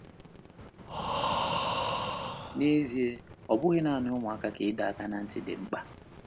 N’ezie, ọ bụghị nanị ụmụaka ka ịdọ aka ná ntị dị mkpa.